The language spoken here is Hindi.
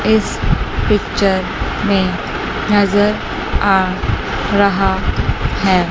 इस पिक्चर में नजर आ रहा है।